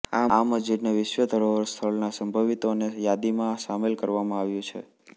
આ મસ્જિદને વિશ્વ ધરોહર સ્થળના સંભવિતોની યાદીમાં સામેલ કરવામાં આવ્યું છે